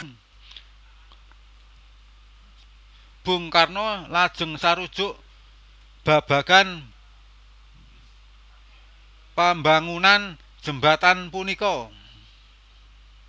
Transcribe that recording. Bung Karno lajeng sarujuk babagan pambangunan Jembatan punika